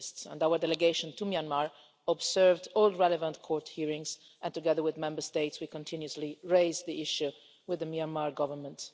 Our delegation to Myanmar has observed all relevant court hearings, and, together with Member States, we continuously raise the issue with the Myanmar Government.